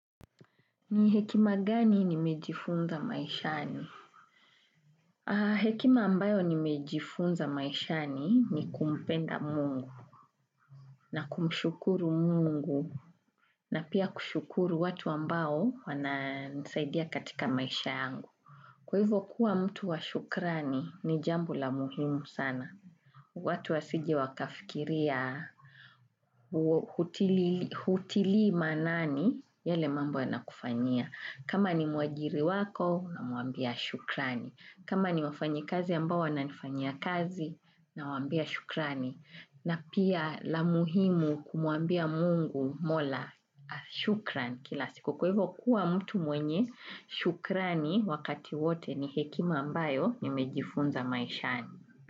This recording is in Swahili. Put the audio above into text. Ni hekima gani nimejifunza maishani? Hekima ambayo nimejifunza maishani ni kumpenda mungu. Na kumshukuru mungu. Na pia kushukuru watu ambao wanasaidia katika maishayangu. Kwa hivyo kuwa mtu washukrani ni jambo la muhimu sana. Watu wasije wakafikiria hutili manani yale mambo wana kufanyia. Kama ni muajiri wako unamuambia shukrani. Kama ni wafanyi kazi ambawo wananifanya kazi nawambia shukrani. Na pia la muhimu kumuambia mungu mola shukrani kila siku. Kwa hivyo kuwa mtu mwenye shukrani wakati wote ni hekima ambayo nimejifunza maishani.